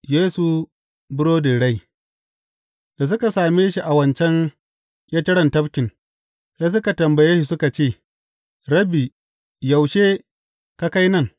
Yesu burodin rai Da suka same shi a wancan ƙetaren tafkin, sai suka tambaye shi suka ce, Rabbi, yaushe ka kai nan?